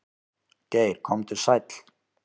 Geir komdu sæll.